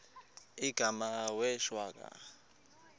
igama wee shwaca